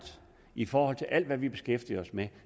i forhold til alt hvad vi beskæftiger os med